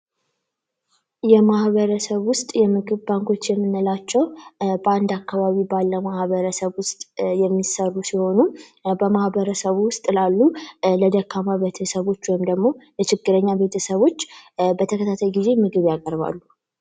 የማህበረሰብ ውስጥ የምግብ ባንኮች የምንላቸው በአንድ አካባቢ ባለሙያ ዉስጥ የሚሰሩ ሲሆኑ በማህበረሰብ ውስጥ ያሉ ለደካማ ቤተሰቦች ወይም ደግሞ የችግረኛ ቤተሰቦች በተከታተል ጊዜ ምግብ ያቀርባሉ